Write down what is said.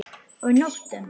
Og nóttum!